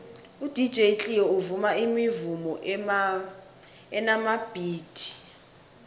udj cleo uvuma imivumo enamabhithi